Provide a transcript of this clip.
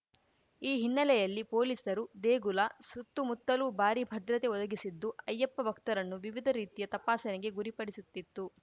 ಈ ಹಿನ್ನೆಲೆಯಲ್ಲಿ ಪೊಲೀಸರು ದೇಗುಲ ಸುತ್ತಮುತ್ತಲೂ ಭಾರೀ ಭದ್ರತೆ ಒದಗಿಸಿದ್ದು ಅಯ್ಯಪ್ಪ ಭಕ್ತರನ್ನು ವಿವಿಧ ರೀತಿಯ ತಪಾಸಣೆಗೆ ಗುರಿಪಡಿಸುತ್ತಿತ್ತು